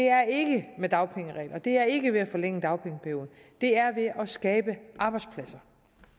er ikke med dagpengeregler og det er ikke ved at forlænge dagpengeperioden det er ved at skabe arbejdspladser